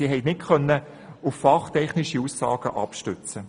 Sie vermochten diese nicht auf fachtechnische Aussagen abzustützen.